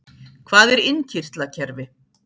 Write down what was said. Hvað er innkirtlakerfi?